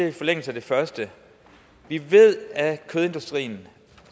i forlængelse af det første vi ved at kødindustrien